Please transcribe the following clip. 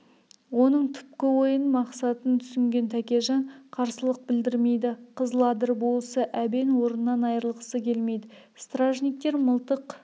оның түпкі ойын мақсатын түсінген тәкежан қарсылық білдірмейді қызыладыр болысы әбен орнынан айрылғысы келмейді стражниктер мылтық